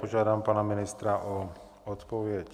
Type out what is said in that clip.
Požádám pana ministra o odpověď.